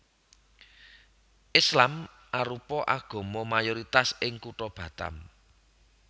Islam arupa agama mayoritas ing kutha Batam